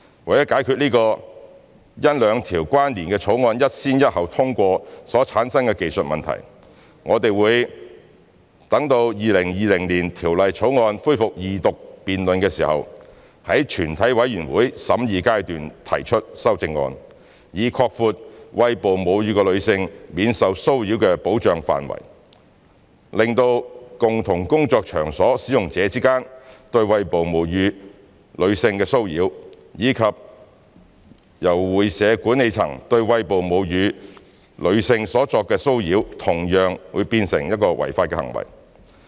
為解決這個因兩項關連的法案一先一後通過所產生的技術問題，我們會待《條例草案》恢復二讀辯論時，於全體委員會審議階段提出修正案，以擴闊餵哺母乳的女性免受騷擾的保障範圍，令共同工作場所使用者之間對餵哺母乳女性的騷擾，以及由會社管理層對餵哺母乳女性所作的騷擾同樣變成違法行為。